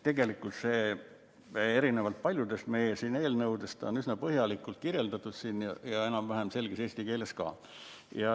Tegelikult on seda siin erinevalt paljudest meie eelnõudest üsna põhjalikult kirjeldatud ja enam-vähem selges keeles ka.